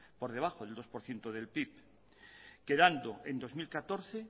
por debajo del dos por ciento del pib quedando en dos mil catorce